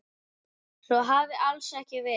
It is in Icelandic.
Svo hafi alls ekki verið.